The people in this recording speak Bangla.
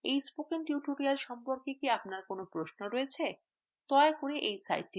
এই spoken tutorial সম্পর্কে আপনার কি কোন প্রশ্ন আছে